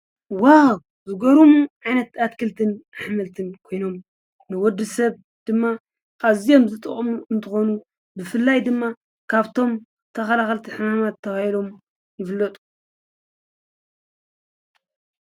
ዋዉ ዝገርሙ ዓይነት ኣትክልትን ኣሕምልትን ኮይኖም ንወድሰብ ድማ ኣዝዮም ዝጠቅሙ እንትኮኑ ብፍላይ ድማ ካብቶም ተኸላኸልቲ ሕማማት ተባሂሎም ዝፍለጡ ....።